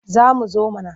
Za mu zo mana.